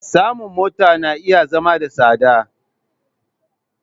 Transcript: Samun mota na iya zama da tsada.